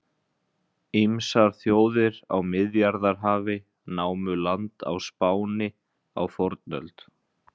Ýmsar þjóðir á Miðjarðarhafi námu land á Spáni á fornöld.